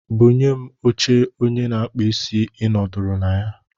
Bunye m oche onye na-akpụ isí ị nọdụrụ na ya.